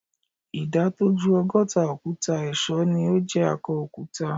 Ìdá tó ju ọgọ́ta òkúta ẹ̀ṣọ́ ni o jé akọ òkúta.